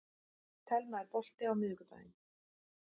Telma, er bolti á miðvikudaginn?